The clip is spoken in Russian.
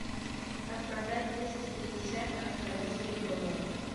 как продать двести пятьдесят австралийских долларов